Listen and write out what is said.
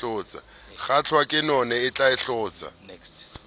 kgahlwa ke none e hlotsa